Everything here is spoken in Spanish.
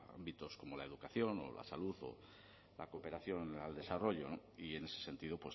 ámbitos como la educación o la salud o la cooperación al desarrollo y en ese sentido